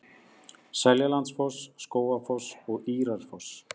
Seljalandsfoss, Skógafoss og Írárfoss.